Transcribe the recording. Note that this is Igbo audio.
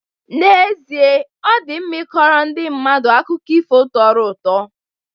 N'ezie, ọ dị mma ịkọrọ ndị mmadụ akụkọ ifo tọrọ ụtọ